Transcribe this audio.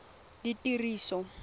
ditiriso